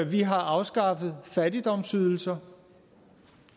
vi har afskaffet fattigdomsydelser